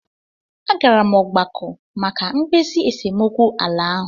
A gara m ọgbakọ maka mkpezi esemokwu ala ahụ.